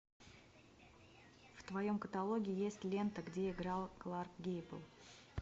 в твоем каталоге есть лента где играл кларк гейбл